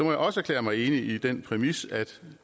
jeg også erklære mig enig i den præmis at